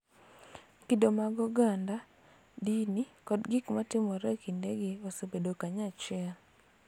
Kido mag oganda, dini, kod gik ma timore e kindegi osebedo kanyachiel .